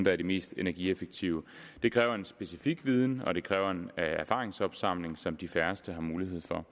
er de mest energieffektive det kræver en specifik viden og det kræver en erfaringsopsamling som de færreste har mulighed for